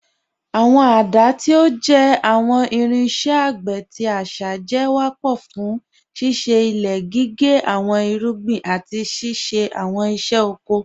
Awọn giláàsí, tí ó jẹ́ awọn irinṣẹ̀ àgbé tí àṣá, jẹ́ wápọ̀ fún síṣẹ ilẹ̀, gígẹ́ awọn irúgbìn, àti ṣíṣẹ̀ awọn iṣẹ̀ ọkọ̀ oríṣiríṣì.